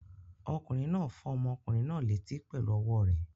Ọkùnrin náà fọ́ ọmọkùnrin náà létí pẹ̀lú ọwọ́ rẹ̀.